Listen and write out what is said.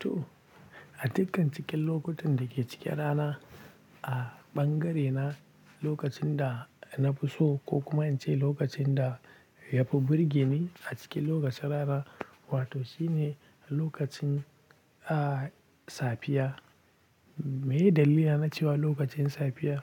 To, a dukkan cikin lokutan da ke cikin rana a bangare na lokacin da na fi so ko kuma in ce lokacin da ya fi burge ni a cikin lokacin rana, wato shine lokacin, ah, safiya. Me dalilina na cewa lokacin safiya?